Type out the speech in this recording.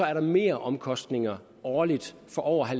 er meromkostninger årligt for over